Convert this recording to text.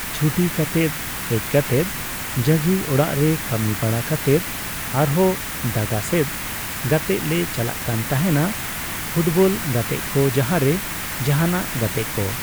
ᱪᱷᱩᱴᱤ ᱠᱟᱛᱮᱫ ᱦᱮᱡᱠᱟᱛᱮᱫ ᱡᱟᱜᱤ ᱚᱲᱟᱜ ᱨᱮ ᱠᱟᱹᱢᱤ ᱵᱟᱲᱟ ᱠᱟᱛᱮᱫ ᱟᱨᱦᱚ ᱰᱟᱸᱜᱟᱥᱮᱫ ᱜᱟᱛᱮᱜᱼᱞᱮ ᱪᱟᱞᱟᱜ ᱠᱟᱱ ᱛᱟᱦᱮᱱᱟ ᱯᱷᱩᱴᱵᱚᱞ ᱜᱟᱛᱮᱜ ᱠᱚ ᱡᱟᱦᱟᱨᱮ ᱡᱟᱦᱟᱱᱟᱜ ᱜᱟᱛᱮᱜ ᱠᱚ